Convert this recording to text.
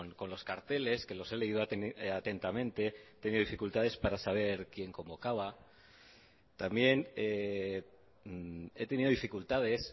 con los carteles que los he leído atentamente he tenido dificultades para saber quién convocaba también he tenido dificultades